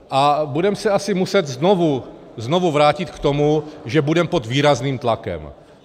A budeme se asi muset znovu vrátit k tomu, že budeme pod výrazným tlakem.